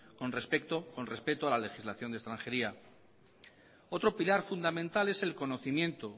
con respeto a la legislación de extranjería otro pilar fundamental es el conocimiento